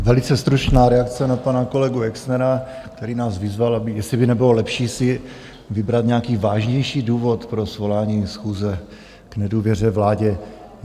Velice stručná reakce na pana kolegu Exnera, který nás vyzval, jestli by nebylo lepší si vybrat nějaký vážnější důvod pro svolání schůze k nedůvěře vládě.